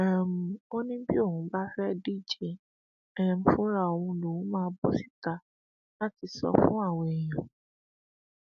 um ó ní bí òun bá fẹẹ díje um fúnra òun lòún máa bọ síta láti sọ fún àwọn èèyàn